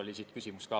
Hea ettekandja!